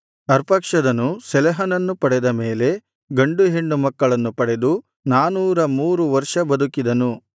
ಅರ್ಪಕ್ಷದನು ಶೆಲಹನನ್ನು ಪಡೆದ ಮೇಲೆ ಗಂಡು ಹೆಣ್ಣು ಮಕ್ಕಳನ್ನು ಪಡೆದು ನಾನೂರ ಮೂರು ವರ್ಷ ಬದುಕಿದನು